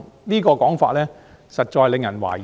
這種說法實在令人懷疑。